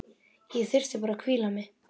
Ég þyrfti bara að hvíla mig.